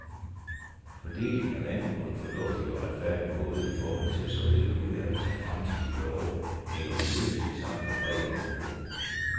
Fordelingen af vandet på en fornuftig og retfærdig måde i forhold til såvel nuværende som fremtidige behov hænger uløseligt sammen med freden i området.